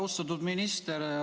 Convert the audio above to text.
Austatud minister!